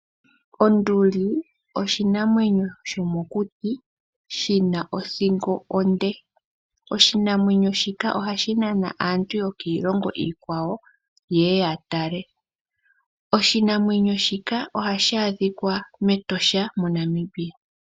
Onduli oshinamwenyo shomokuti shina othingo onde. Oshinamwenyo shika ohashi nana aantu yokiilongo iikwawo yeye yatale. Oshinamwenyo shika ohashi adhikwa mEtosha moNamibia.